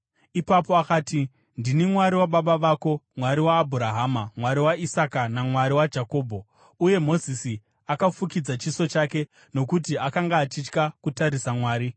Ipapo akati, “Ndini Mwari wababa vako, Mwari waAbhurahama, Mwari waIsaka naMwari waJakobho.” Uye Mozisi akafukidza chiso chake, nokuti akanga achitya kutarisa Mwari.